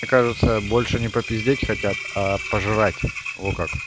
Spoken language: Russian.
кажется больше не попиздеть хотят а пожрать во как